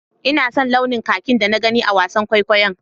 Ina son launin kakin da na gani a wasan kwaikwayon.